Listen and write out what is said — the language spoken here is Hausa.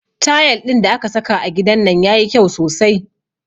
Tayal ɗin da aka saka a gidan nan yayi kyau sosai